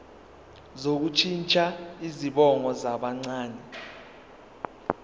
sokushintsha izibongo zabancane